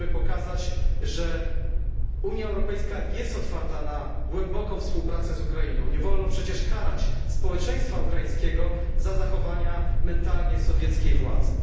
Musimy pokazać, że Unia Europejska jest otwarta na głęboką współpracę z Ukrainą nie wolno przecież karać społeczeństwa ukraińskiego za zachowania mentalnie sowieckiej władzy.